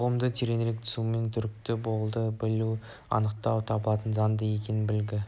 ұғымды тереңірек түсінуіме түрткі болды білу анықтау талабының заңды екені белгілі